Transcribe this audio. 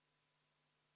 Aitäh, lugupeetud juhataja!